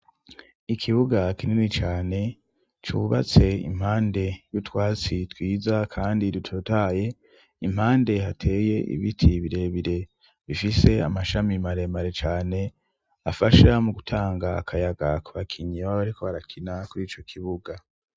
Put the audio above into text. Ikibuga kinini cane cubatse impande y'utwatsi twiza kandi dutotahaye impande hateye ibiti birebire bifise amashami maremare cane afasha mu gutanga akayaga ku bakinyi baba bariko barakina kuriico kibuga.